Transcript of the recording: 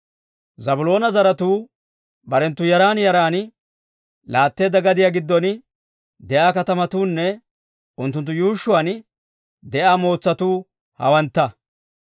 Zaabiloona zaratuu barenttu yaran yaran laatteedda gadiyaa giddon de'iyaa katamatuunne unttunttu yuushshuwaan de'iyaa mootsatuu hawantta.